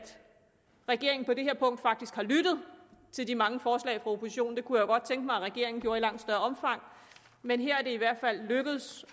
regeringen på det her punkt faktisk har lyttet til de mange forslag fra oppositionen det kunne jeg godt tænke mig at regeringen gjorde i langt større omfang men her er det i hvert fald lykkedes